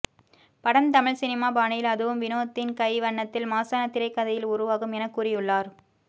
படம் தமிழ் சினிமா பாணியில் அதுவும் வினோத்தின் கை வண்ணத்தில் மாஸான திரைக்கதையில் உருவாகும் என கூறியுள்ளார்